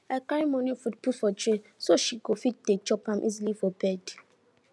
i carry morning food put for tray so she go fit dey chop am easily for bed